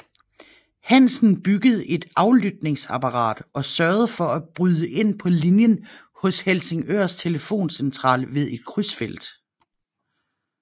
Hansen byggede et aflytningsapparat og sørgede for at bryde ind på linjen hos Helsingørs telefoncentral ved et krydsfelt